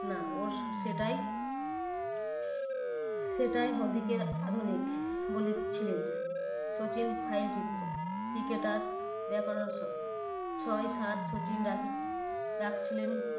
না, ওর সেটাই সেটাই হার্ডিকের আধুনিক বলেছিলেন। সচিন file চিত্র cricketer ছয় সাত সচিন রাখ~ রাখছিলেন